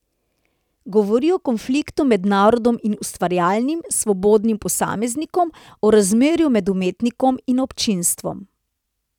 Govori o konfliktu med narodom in ustvarjalnim, svobodnim posameznikom, o razmerju med umetnikom in občinstvom.